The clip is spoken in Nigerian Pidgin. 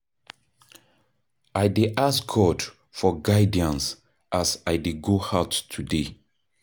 I dey ask God for guidance as I dey go out today.